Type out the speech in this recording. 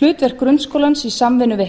hlutverk grunnskólans í samvinnu við